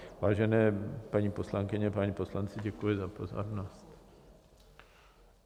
Vážené paní poslankyně, páni poslanci, děkuji za pozornost.